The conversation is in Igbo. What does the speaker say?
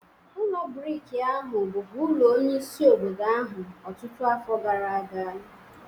Ụlọ brik ahụ bụbu ulo onyeisi obodo ahụ ọtụtụ afọ gara aga.